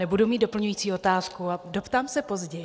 Nebudu mít doplňující otázku a doptám se později.